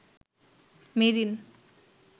marine